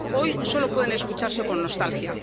Hoy solo pueden escucharse con nostalgia.